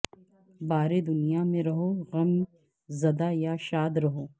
بارے دنیا میں رہو غم زدہ یا شاد رہو